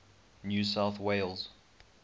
new south wales